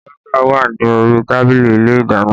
Baga wà ní orí tábìlì ilé ìdáná